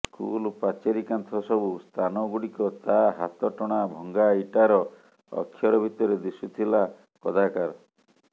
school ପାଚେରୀ କାନ୍ଥ ସବୁ ସ୍ଥାନଗୁଡ଼ିକ ତା ହାତଟଣା ଭଙ୍ଗା ଇଟାର ଅକ୍ଷର ଭିତରେ ଦିଶୁଥିଲା କଦାକାର